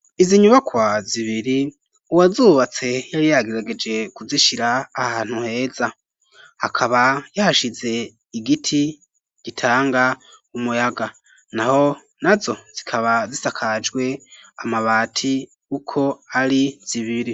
Izi nyubakwa zibiri uwazubatse yari yagerageje kuzishira ahantu heza akaba yahashize igiti gitanga umuyaga naho nazo zikaba zisakajwe amabati uko ari zibiri.